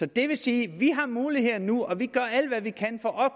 det vil sige at vi har muligheder nu og vi gør alt hvad vi kan for